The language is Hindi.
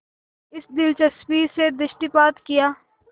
इस दिलचस्पी से दृष्टिपात किया